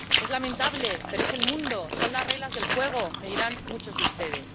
Es lamentable, pero es el mundo, son las reglas del juego, me dirán muchos de ustedes.